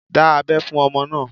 Dá abẹ́ fún ọmọ náà.